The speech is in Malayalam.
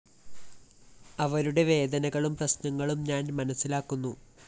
അവരുടെ വേദനകളും പ്രശ്‌നങ്ങളും ഞാന്‍ മനസിലാക്കുന്നു